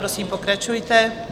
Prosím, pokračujte.